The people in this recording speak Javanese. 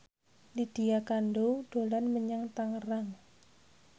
Lydia Kandou dolan menyang Tangerang